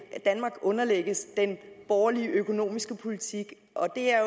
at danmark underlægges den borgerlige økonomiske politik og det er